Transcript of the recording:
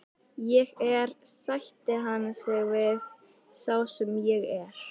Ég er, sætti hann sig við, sá sem ég er.